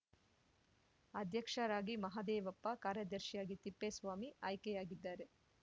ಅಧ್ಯಕ್ಷರಾಗಿ ಮಹದೇವಪ್ಪ ಕಾರ್ಯದರ್ಶಿಯಾಗಿ ತಿಪ್ಪೇಸ್ವಾಮಿ ಆಯ್ಕೆಯಾಗಿದ್ದಾರೆ